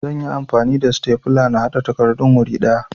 Zan yi amfani da sitefula na haɗa takardun wuri ɗaya